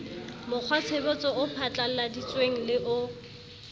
mokgwatshebetso o phatlalladitsweng le o